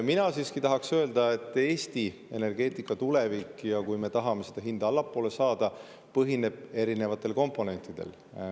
Mina siiski tahaks öelda, et Eesti energeetika tulevik, kui me tahame seda hinda allapoole saada, põhineb erinevatel komponentidel.